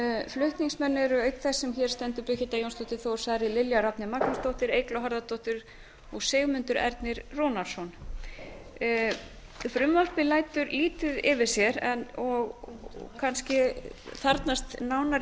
flutningsmenn er auk þess sem hér stendur birgitta jónsdóttir þór saari lilja rafney magnúsdóttir eygló harðardóttir og sigmundur ernir rúnarsson frumvarpið lætur lífi yfir sér og kannski þarfnast nánari